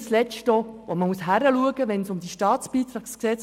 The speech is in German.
Es muss auch klar hingeschaut werden, wenn es um das StBG geht.